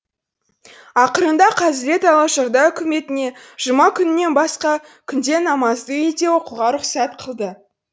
ақырында қазірет алашорда үкіметіне жұма күнінен басқа күнде намазды үйде оқуға рұқсат қылды